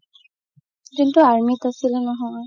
যোনতো army ত আছিলে নহয়